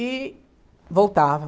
E voltava.